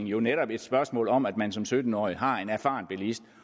jo netop et spørgsmål om at man som sytten årig har en erfaren bilist